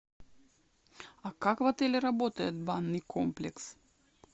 а как в отеле работает банный комплекс